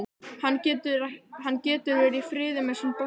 Hann getur verið í friði með sinn bolta.